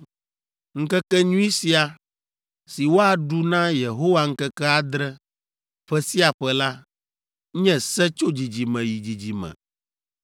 Ŋkekenyui sia, si woaɖu na Yehowa ŋkeke adre, ƒe sia ƒe la, nye se tso dzidzime yi dzidzime.